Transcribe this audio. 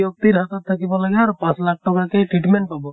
ব্য়ক্তিৰ হাতত থাকিব লাগে আৰু পাঁছ লাখ টকাকে treatment পাব।